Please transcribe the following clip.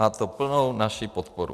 Má to plnou naši podporu.